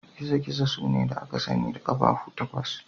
Gizo-gizo sune da aka sani da ƙafafu takwas.